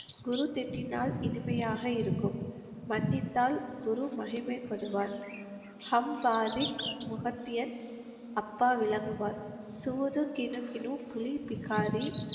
குரு திட்டினால் இனிமையாக இருக்கும். மன்னித்தால் குரு மகிமைப்படுவார். ஹம் பாவிக் முகத்தியன் அப்பா விளங்குவார். சூது கினு கினு புலி பிஹாரி,